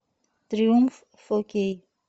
триумф фо кей